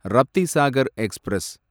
Raptisagar express